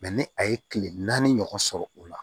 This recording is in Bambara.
ni a ye kile naani ɲɔgɔn sɔrɔ o la